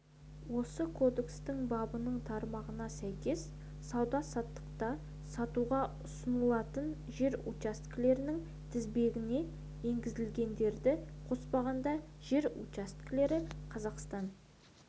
осы кодекстің бабының тармағына сәйкес сауда-саттықта сатуға ұсынылатын жер учаскелерінің тізбесіне енгізілгендерді қоспағанда жер учаскелері қазақстан